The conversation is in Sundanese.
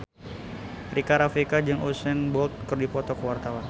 Rika Rafika jeung Usain Bolt keur dipoto ku wartawan